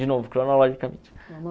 De novo, cronologicamente.